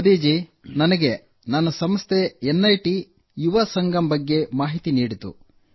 ಮೋದಿ ಜೀ ನನಗೆ ನನ್ನ ಸಂಸ್ಥೆ ಎನ್ಐಟಿ ಯುವ ಸಂಗಮ್ ಬಗ್ಗೆ ಮಾಹಿತಿ ನೀಡಿತು